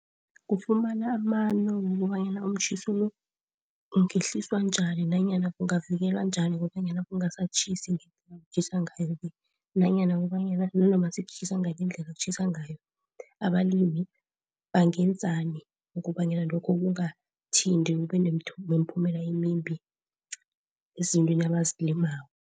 Kufumana amano wokobanyana umtjhiso lo ungehliswa njani nanyana kungavikelwa njani kobanyana kungasatjhisi ngendlela ekutjhisa ngayo le, nanyana kubanyana nanoma sekutjhisa ngale indlela ekutjhisa ngayo. Abalimi bangenzani ukobanyana lokho kungathinti kube nemiphumela emimbi ezintweni abazilimako.